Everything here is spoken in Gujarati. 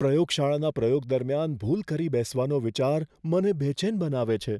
પ્રયોગશાળાના પ્રયોગ દરમિયાન ભૂલ કરી બેસવાનો વિચાર મને બેચેન બનાવે છે.